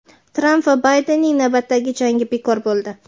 Tramp va Baydenning navbatdagi "jangi" bekor bo‘ldi.